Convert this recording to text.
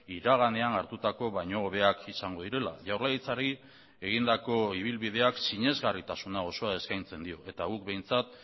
iraganean hartutako baino hobeak izango direla jaurlaritzari egindako ibilbideak sinesgarritasuna osoa eskaintzen dio eta guk behintzat